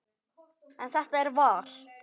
En þetta er val.